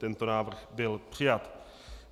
Tento návrh byl přijat.